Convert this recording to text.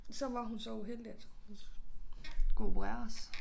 Så var hun så uheldig at hun skulle opereres